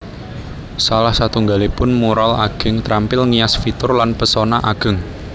Salah satunggalipun mural ageng trampil ngias fitur lan pesona ageng